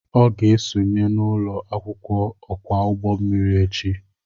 Ọ ga-esonye n'ụlọ akwụkwọ okwa ụgbọ mmiri echi